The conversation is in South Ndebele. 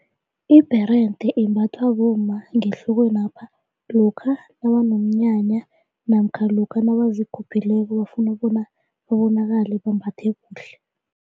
Ibherede embathwa bomma ngehlokwanapha lokha nabanomnyanya namkha lokha nabazikhuphileko bafuna bona babonakale bambathe kuhle.